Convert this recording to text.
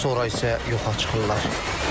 Sonra isə yoxa çıxırlar.